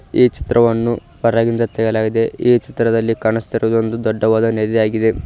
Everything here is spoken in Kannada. ಈ ಚಿತ್ರವನ್ನು ಹೊರಗಿಂದ ತೆಗೆಯಲಾಗಿದೆ ಈ ಚಿತ್ರದಲ್ಲಿ ಕಾಣಿಸ್ತಿರೋದು ಒಂದು ದೊಡ್ಡವಾದ ನದಿಯಾಗಿದೆ.